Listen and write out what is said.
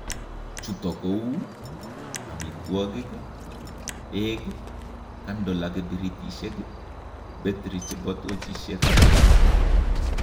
Chuto kouu: amitwokik, beek, candle ak kibiritishek, battery chebo tojishek ak alak